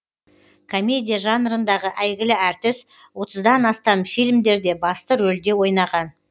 комедия жанрындағы әйгілі әртіс отыздан астам фильмдерде басты рөлде ойнаған